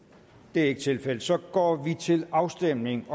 det er ikke tilfældet så vi går til afstemning